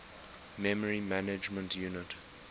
memory management unit